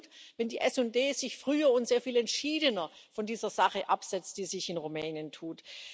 Es wäre gut, wenn die SD sich früh und sehr viel entschiedener von dieser Sache absetzt, die sich in Rumänien tut.